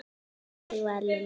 Þannig var Lillý.